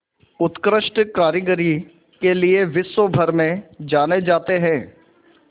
उत्कृष्ट कारीगरी के लिये विश्वभर में जाने जाते हैं